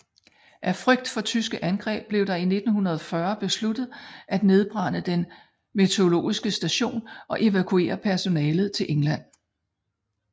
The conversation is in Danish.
Af frygt for tyske angreb blev det i 1940 besluttet at nedbrænde den meteorologiske station og evakuere personalet til England